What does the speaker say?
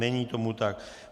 Není tomu tak.